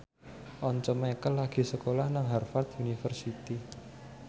Once Mekel lagi sekolah nang Harvard university